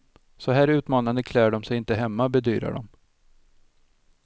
Så här utmanande klär de sig inte hemma, bedyrar de.